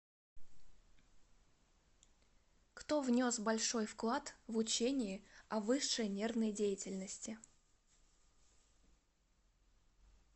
кто внес большой вклад в учение о высшей нервной деятельности